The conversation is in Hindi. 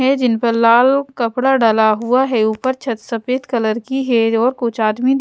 है जिन पर लाल कपड़ा डाला हुआ है ऊपर छत सफेद कलर की है और कुछ आदमी--